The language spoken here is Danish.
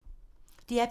DR P3